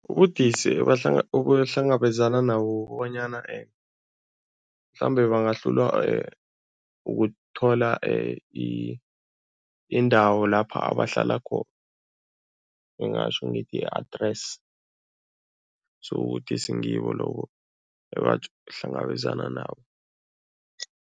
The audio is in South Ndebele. Ubudisi obahlangabezana nabo kukobonyana mhlambe bangahlulwa ukuthola indawo lapha abahlala , ngingatjho ngithi i-address so ubudisi ngibo lobo ebahlangabezana nabo.